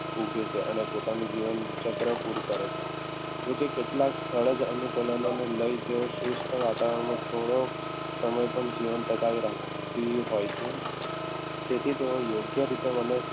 ઉગે છે અને પોતાનું જીવન ચક્ર પૂરું કરે છે જોકે કેટલાક સુસ્થ વાતાવરણમાં ઘણો સમય જીવન ટકાવી રાખે કી હોય છે તેથી તે યોગ્ય રીતે વનસ